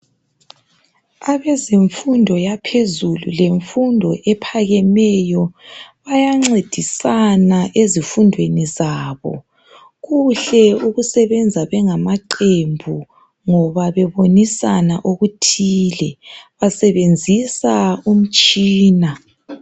Abezemfundo yaphezulu lemfundo ephakemeyo bayancedisana ezifundweni zabo. Kuhle ukusebenza bengamaqembu ngoba bebonisana okuthile. Basebenzisa umtshina.